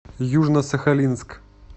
южно сахалинск